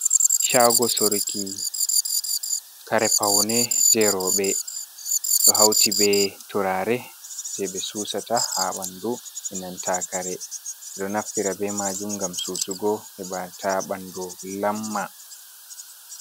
Shago surki kare paune je roɓe, ɗo hauti ɓe turare je ɓe susata ha ɓandu inanta kare, ɗo naftira be majum ngam susugo hebata bandu lamma.